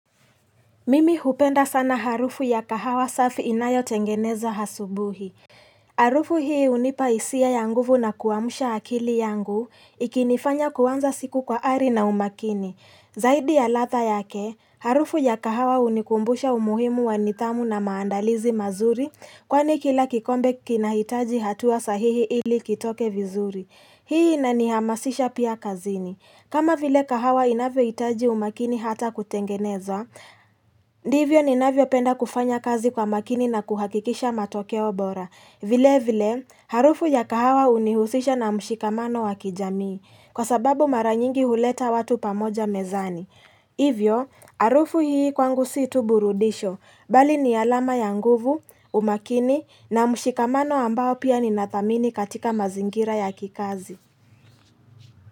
Mimi hupenda sana harufu ya kahawa safi inayo tengeneza hasubuhi. Harufu hii hunipa hisia ya nguvu na kuamsha akili yangu, ikinifanya kuanza siku kwa ari na umakini. Zaidi ya ladha yake, harufu ya kahawa hunikumbusha umuhimu wa nithamu na maandalizi mazuri, kwani kila kikombe kinahitaji hatua sahihi ili kitoke vizuri. Hii inanihamasisha pia kazini. Kama vile kahawa inavyohitaji umakini hata kutengeneza, ndivyo ninavyo penda kufanya kazi kwa makini na kuhakikisha matokeo bora. Vile vile, harufu ya kahawa hunihusisha na mshikamano wakijamii, kwa sababu maranyingi huleta watu pamoja mezani. Hivyo, harufu hii kwangu situ burudisho, bali ni alama ya nguvu, umakini, na mshikamano ambao pia ninathamini katika mazingira ya kikazi.